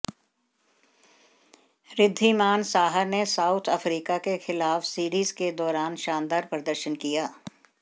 ऋद्धिमान साहा ने South Africa के खिलाफ सीरीज के दौरान शानदार प्रदर्शन किया